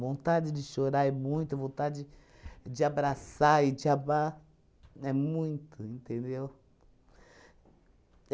Vontade de chorar é muito, vontade de abraçar e de amar, é muito, entendeu?